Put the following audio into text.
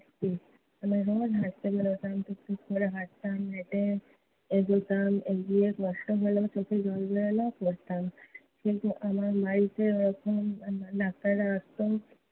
রোজ হাঁটতে বেরুতাম। টুক টুক করে হাঁটতাম। হেঁটে এগোতাম, এগিয়ে কষ্ট হলেও, চোখে জল এলেও পড়তাম। কিন্তু আমার বাড়িতে তখন doctor রা আসতো